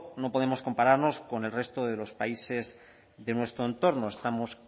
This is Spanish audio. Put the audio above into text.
no podemos compararnos con el resto de los países de nuestro entorno estamos